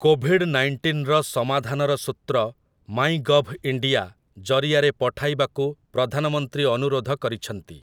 Covid ନାଇଣ୍ଟିନ୍‌ର ସମାଧାନର ସୂତ୍ର 'ମାଇଗଭ୍ଇଣ୍ଡିଆ' ଜରିଆରେ ପଠାଇବାକୁ ପ୍ରଧାନମନ୍ତ୍ରୀ ଅନୁରୋଧ କରିଛନ୍ତି।